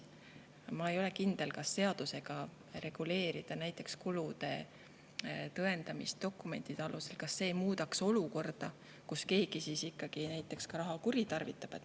Ma ei ole kindel, kas see, kui seadusega reguleerida kulude tõendamist dokumentide alusel, muudaks olukorda, kus keegi raha kuritarvitab.